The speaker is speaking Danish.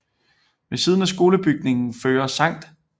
Ved siden af skolebygningen fører Skt